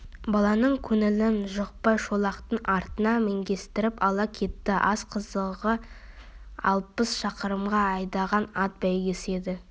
баланың көңілін жықпай шолақтың артына міңгестіріп ала кетті ас қызығы алпыс шақырымға айдаған ат бәйгесі еді